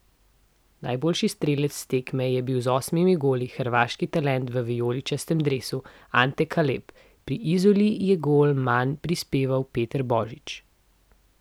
Najboljši strelec tekme je bil z osmimi goli hrvaški talent v vijoličastem dresu Ante Kaleb, pri Izoli je gol manj prispeval Peter Božič.